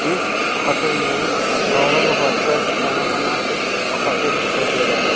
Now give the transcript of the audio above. इस हॉटेल में औरंगाबाद का जानामाना एक हॉटेल दिखाई दे रहा है।